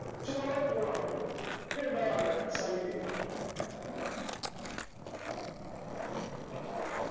so വളരെ cool ആണ് ഇനി ഇനി എന്താ കാണണ്ടേ sin a